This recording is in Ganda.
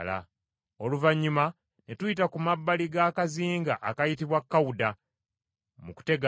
Oluvannyuma ne tuyita ku mabbali g’akazinga akayitibwa Kawuda, mu kutegana,